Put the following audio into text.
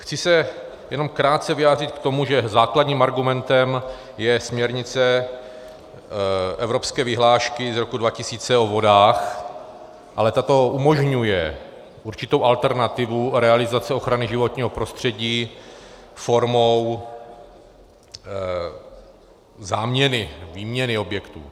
Chci se jenom krátce vyjádřit k tomu, že základním argumentem je směrnice evropské vyhlášky z roku 2000 o vodách, ale ta umožňuje určitou alternativu realizace ochrany životního prostředí formou záměny, výměny objektů.